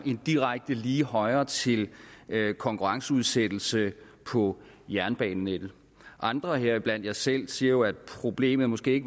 lige højre til konkurrenceudsættelse på jernbanenettet og andre heriblandt jeg selv siger jo at problemet måske